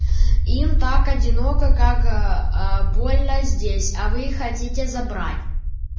им так одиноко как аа больно здесь а вы хотите забрать